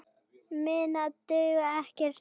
Minna dugði ekki til.